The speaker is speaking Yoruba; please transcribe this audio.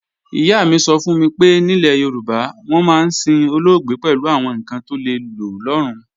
Ìyá mi sọ fún mi pé nílẹ̀ Yorùbá, wọ́n máa ń sin olóògbé pẹ̀lú àwọn ǹkan tó lè lò lọ́run